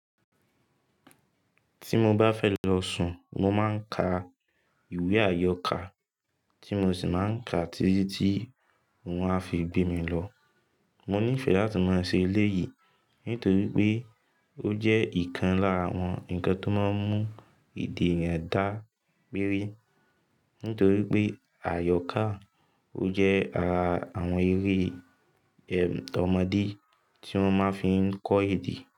Tí mo bá fẹ́ lọ sùn mo máa ń ka ìwé àyọkà tí mo sì máa ń ka títí tí wón á fi gbé mi lọ. Mo nífẹ̀ẹ́ láti máa ṣe eléyìí nítorí pé ó jẹ́ ìkan lára àwọn ǹkan tó máa ń mú ìdí èèyàn dá gbééré. Nítorí pé àyọkà ó jẹ́ ara àwọn eré ẹm ọmọdé tí wọ́n máa ń fi kọ́ èdè.